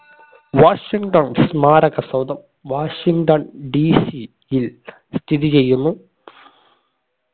Washington സ്മാരക സൗധം Washington DC യിൽ സ്ഥിതി ചെയ്യുന്നു